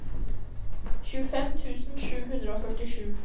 tjuefem tusen sju hundre og førtisju